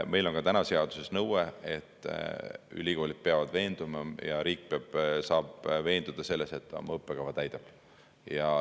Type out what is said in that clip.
Meil on ka täna seaduses nõue, et ülikoolid peavad veenduma ja riik saab veenduda selles, et oma õppekava täidab.